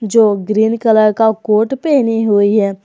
जो green colour का coat पहनी हुई है।